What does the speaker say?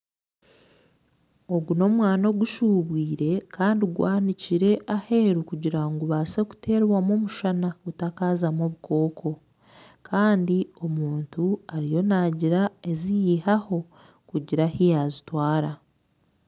Ogu n'omwani ogushubwire Kandi gwanikire aheru kugira ngu gubase kuterwamu omushana gutakazamu obukooko Kandi omuntu ariyo nagira ogu yihaho kugira ahu yaagutwara.